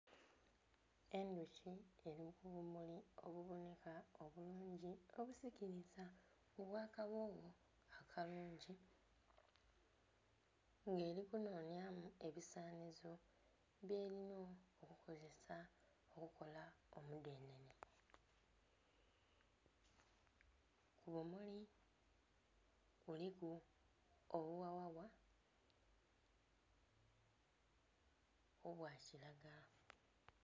Endhuki eli ku bumuli obubonheka obulungi, obusikiliza, obw'akaghogho akalungi. Ng'eli kunhonhyamu ebisanhizo byelina okukozesa okukola omudhenhenhe. Ku bumuli kuliku obughaghagha, obwa kilagala.